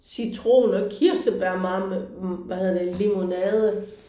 Citron og kirsebær hvad hedder det limonade